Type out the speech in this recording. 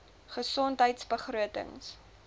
gesondheidbegrotings